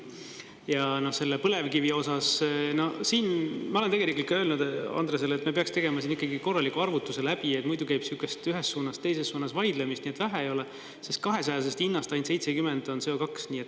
Ja selle põlevkivi osas, siin ma olen tegelikult ka öelnud Andresele, et me peaks tegema ikkagi korraliku arvutuse läbi, muidugi võib sihuke ühes suunas, teises suunas vaidlemist nii et vähe ei ole, sest 200-sest hinnast ainult 70 on CO2.